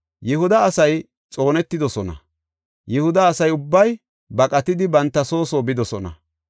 Yihuda asay xoonetidosona; Yihuda asa ubbay baqatidi banta soo soo bidosona.